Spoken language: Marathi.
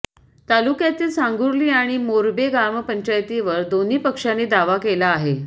तालुक्यातील सांगुर्ली आणि मोर्बे ग्रामपंचायतीवर दोन्ही पक्षांनी दावा केला आहे